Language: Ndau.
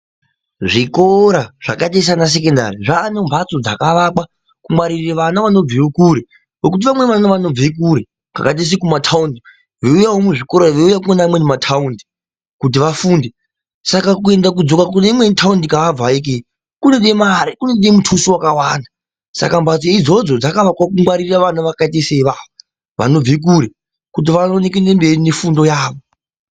Zvikora zvakaita saana secondari zvaane mhatso dzakaakwa kungwarire vana vanobve kure, nokuti vamweni vana vanobve kure kwakaite sekumataundi, veuyawo muzvikora veuya kuonewo mamwe mataundi kuti vafunde, saka kuenda kudzoka kuneimwe taundi yaabva ikweyo, zvinode mare, kunode mutuso wakawanda, saka mhatso idzodzo dzakavakwa kugwarira vana vakaita seivavo vanobve kure kuti vaone kuende mberi nefundo yavo.